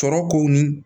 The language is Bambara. Tɔɔrɔ kow